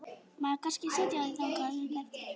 Má ég kannski sitja í hjá þér þangað upp eftir?